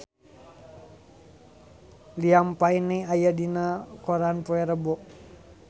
Liam Payne aya dina koran poe Rebo